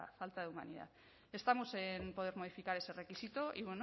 falta de humanidad estamos en poder modificar ese requisito y